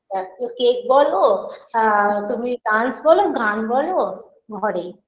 birthday cake বলো আ তুমি dance বলো গান বলো ঘরেই